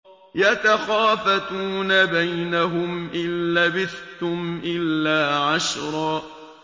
يَتَخَافَتُونَ بَيْنَهُمْ إِن لَّبِثْتُمْ إِلَّا عَشْرًا